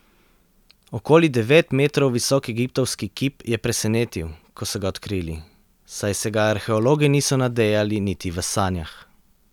Okoli devet metrov visok egiptovski kip je presenetil, ko so ga odkrili, saj se ga arheologi niso nadejali niti v sanjah.